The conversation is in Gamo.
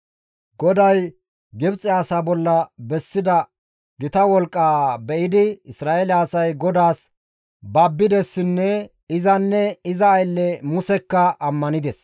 GODAY Gibxe asa bolla bessida gita wolqqaa be7idi Isra7eele asay GODAAS babbidessinne izanne iza aylle Musekka ammanides.